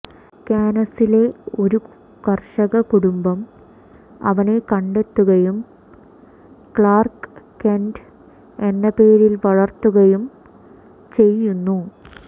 കാനസിലെ ഒരു കർഷക കുടുംബം അവനെ കണ്ടെത്തുകയും ക്ലാർക്ക് കെന്റ് എന്ന പേരിൽ വളർത്തുകയും ചെയ്യുന്നു